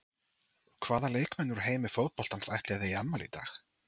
Hvaða leikmenn úr heimi fótboltans ætli að eigi afmæli í dag?